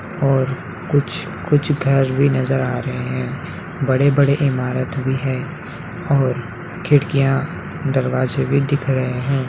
और कुछ कुछ घर भी नजर आ रहे है बड़े-बड़े इमारत भी है और खिड़कियां दरवाजे भी दिख रहे है।